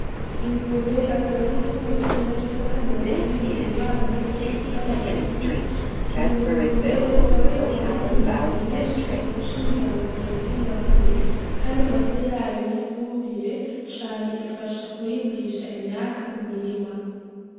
Ingurube akaba ari itungo ryo muhira rifise akamaro kanini mu mibano n'ubutunzi bw'abarundi iyo ngurube bakaba bayikuramwo inyama nyinshi zifasha imiryango kuronka intungamubiri kandi amase yayo n'ifumbire cane ifasha kurimbisha imyaaka mu mirima.